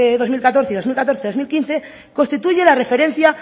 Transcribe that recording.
dos mil catorce y dos mil catorce dos mil quince constituye la referencia